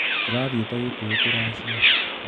Tũrathĩite Kikuyu kũracia.